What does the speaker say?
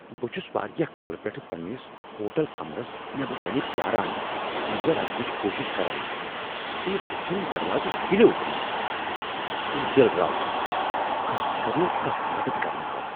بہٕ چُھس واریاہ کالہٕ پٮ۪ٹھٕ پنٛنس ہوٹل کمرس نیبرٕ کنہِ پیٛاران انٛدر اژنٕچ کوٗشِش کران، تہٕ یہ بُتھِم دروازٕ ہِلیو تہِ نہٕ ! مےٚ ہیوٚتُن دِل راوُن ، خاصكر ییٚلہ نہٕ کانٛہہ مدتھ کرنہِ آو ۔